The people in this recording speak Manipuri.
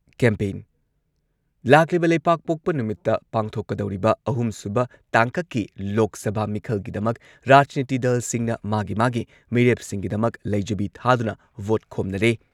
ꯀꯦꯝꯄꯦꯟ- ꯂꯥꯛꯂꯤꯕ ꯂꯩꯕꯥꯛꯄꯣꯛꯄ ꯅꯨꯃꯤꯠꯇ ꯄꯥꯡꯊꯣꯛꯀꯗꯧꯔꯤꯕ ꯑꯍꯨꯝꯁꯨꯕ ꯇꯥꯡꯀꯛꯀꯤ ꯂꯣꯛ ꯁꯚꯥ ꯃꯤꯈꯜꯒꯤꯗꯃꯛ ꯔꯥꯖꯅꯤꯇꯤ ꯗꯜꯁꯤꯡꯅ ꯃꯥꯒꯤ ꯃꯥꯒꯤ ꯃꯤꯔꯦꯞꯁꯤꯡꯒꯤꯗꯃꯛ ꯂꯩꯖꯕꯤ ꯊꯥꯗꯨꯅ ꯚꯣꯠ ꯈꯣꯝꯅꯔꯦ꯫